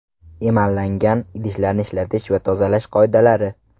Emallangan idishlarni ishlatish va tozalash qoidalari.